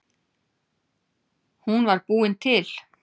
Hún var búin til.